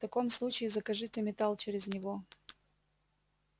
в таком случае закажите металл через него